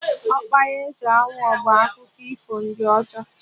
Ọkpara eze Awọ bụ akụkọ ifo ndị ọcha